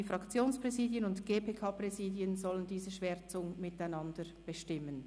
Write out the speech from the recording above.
Die Fraktionspräsidien und das GPK-Präsidium sollen diese Schwärzungen miteinander bestimmen.